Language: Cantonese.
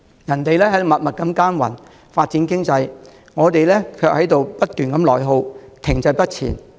人家默默耕耘，發展經濟，我們卻在不斷內耗，停滯不前。